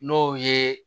N'o ye